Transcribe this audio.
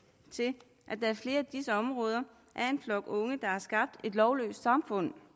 til at der i flere af disse områder er en flok unge der har skabt et lovløst samfund